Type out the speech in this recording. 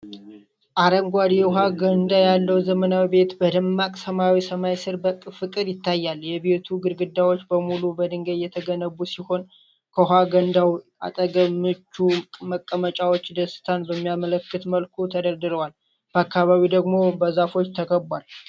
አረንጓዴ የውኃ ገንዳ ያለው ዘመናዊ ቤት በደማቅ ሰማያዊ ሰማይ ሥር በፍቅር ይታያል። የቤቱ ግድግዳዎች በሙሉ በድንጋይ የተገነቡ ሲሆን፣ ከውኃ ገንዳው አጠገብ ምቹ መቀመጫዎች ደስታን በሚያመለክት መልኩ ተደርድረዋል። በአካባቢው ደግሞ በዛፎች ተከቧል።